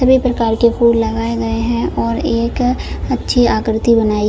सभी प्रकार के फूल लगाए गए है और एक अच्छी आकृती बनाई--